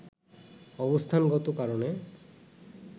অবস্থানগত কারণে